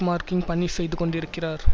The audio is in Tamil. மார்க்கிங் பணி செய்து கொண்டிருக்கிறார்